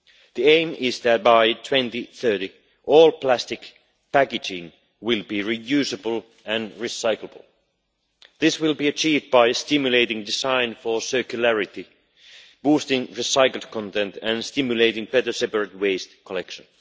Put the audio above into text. The aim is that by 2030 all plastic packaging will be reusable and recyclable. This will be achieved by stimulating design for circularity, boosting recycled content and stimulating better separate waste collection.